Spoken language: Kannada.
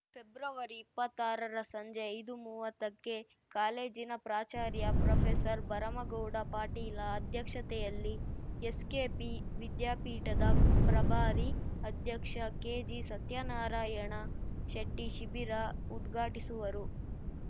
ಫೆಬ್ರವರಿಇಪ್ಪತ್ತಾರರ ಸಂಜೆ ಐದುಮುವತ್ತಕ್ಕೆ ಕಾಲೇಜಿನ ಪ್ರಾಚಾರ್ಯ ಪ್ರೊಫೆಸರ್ಭರಮಗೌಡ ಪಾಟೀಲ ಅಧ್ಯಕ್ಷತೆಯಲ್ಲಿ ಎಸ್‌ಕೆಪಿ ವಿದ್ಯಾಪೀಠದ ಪ್ರಭಾರಿ ಅಧ್ಯಕ್ಷ ಕೆಜಿಸತ್ಯನಾರಾಯಣ ಶೆಟ್ಟಿಶಿಬಿರ ಉದ್ಘಾಟಿಸುವರು